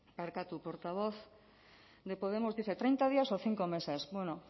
barkatu portavoz de podemos dice treinta días o cinco meses bueno